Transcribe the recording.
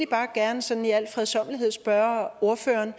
bare gerne sådan i al fredsommelighed spørge ordføreren